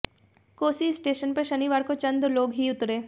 Kosi station पर शनिवार को चंद लोग ही उतरे